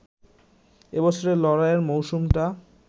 এ বছরে লড়াইয়ের মওসুমটা